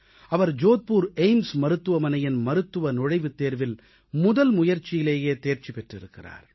அவர் Jodhpur AIIMS AIIMS மருத்துவமனையின் மருத்துவநுழைவுத் தேர்வில் முதல் முயற்சியிலேயே தேர்ச்சி பெற்றிருக்கிறார்